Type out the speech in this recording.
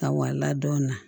Ka wala dɔn